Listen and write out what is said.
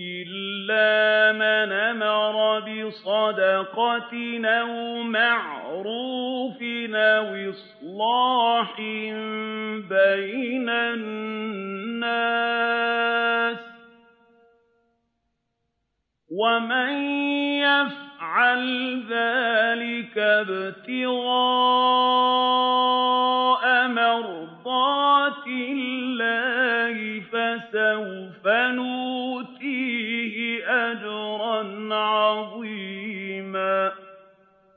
إِلَّا مَنْ أَمَرَ بِصَدَقَةٍ أَوْ مَعْرُوفٍ أَوْ إِصْلَاحٍ بَيْنَ النَّاسِ ۚ وَمَن يَفْعَلْ ذَٰلِكَ ابْتِغَاءَ مَرْضَاتِ اللَّهِ فَسَوْفَ نُؤْتِيهِ أَجْرًا عَظِيمًا